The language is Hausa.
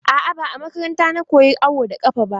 A'a, ba a makaranta na koya awo da ƙafa ba.